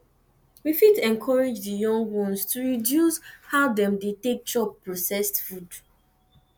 we fit encourage di young ones to reduce how dem take dey chop processed food